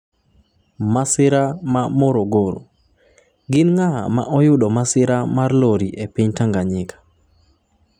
Masira mar Morogoro: Gin ng'a ma oyudo masira mar lori e piny Tanzania?